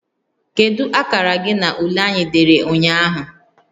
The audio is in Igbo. Kedu akara gị na ule anyị dere ụnyaahụ?